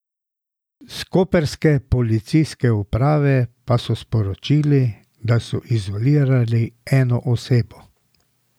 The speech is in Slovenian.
S koprske policijske uprave pa so sporočili, da so izolirali eno osebo.